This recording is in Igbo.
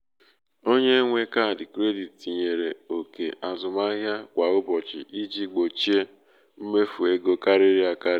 onye nwe kaadị kredit tinyere ókè azụmahịa kwa ụbọchị iji gbochie mmefu ego karịrị akarị.